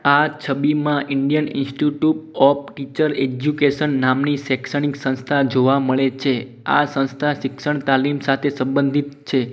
આ છબીમાં Indian institute of teacher education નામની સેક્ષણિક સંસ્થા જોવા મળે છે આ સંસ્થા શિક્ષણ તાલીમ સાથે સંબંધિતી છે.